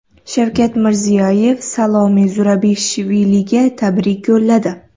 Shavkat Mirziyoyev Salome Zurabishviliga tabrik yo‘lladi.